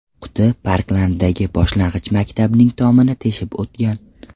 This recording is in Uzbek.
Quti Parklanddagi boshlang‘ich maktabning tomini teshib o‘tgan.